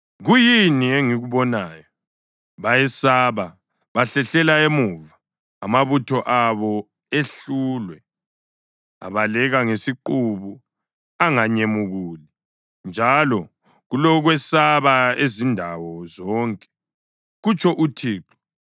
Kuyini engikubonayo? Bayesaba, bahlehlela emuva, amabutho abo ehlulwe. Abaleka ngesiqubu anganyemukuli, njalo kulokwesaba izindawo zonke,” kutsho uThixo.